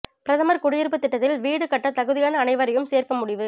பிரதமர் குடியிருப்பு திட்டத்தில் வீடு கட்ட தகுதியான அனைவரையும் சேர்க்க முடிவு